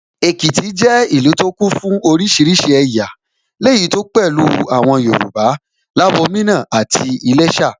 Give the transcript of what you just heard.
Èkìtì jẹ́ ìlú tó kún fún oríṣiríṣi ẹ̀yà, léyìí tó pẹ̀lú àwọn Yorùbá, Labomina àti Iléshà